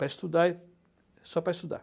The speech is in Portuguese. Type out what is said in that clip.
Para estudar, e só para estudar.